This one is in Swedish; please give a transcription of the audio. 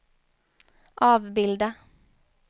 avbilda